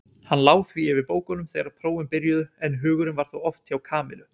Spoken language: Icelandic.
Hann lá því yfir bókunum þegar prófin byrjuðu en hugurinn var þó oft hjá Kamillu.